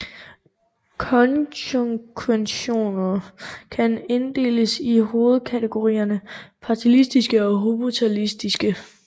Konjunktioner kan inddeles i hovedkategorierne parataktiske eller hypotaktiske